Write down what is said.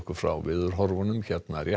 frá veðurhorfum hér rétt